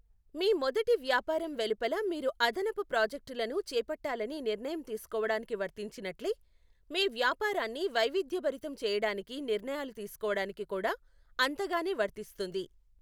మీ మొదటి వ్యాపారం వెలుపల మీరు అదనపు ప్రాజెక్టులను చేపట్టాలని నిర్ణయం తీసుకోవడానికి వర్తించినట్లే, మీ వ్యాపారాన్ని వైవిధ్యభరితం చేయడానికి నిర్ణయాలు తీసుకోవడానికి కూడా అంతగానే వర్తిస్తుంది.